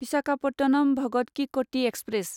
विशाखापटनम भगत कि क'टि एक्सप्रेस